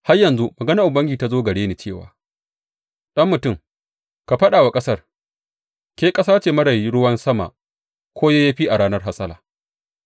Har yanzu maganar Ubangiji ta zo gare ni cewa, Ɗan mutum, ka faɗa wa ƙasar, Ke ƙasa ce marar ruwan sama ko yayyafi a ranar hasala.’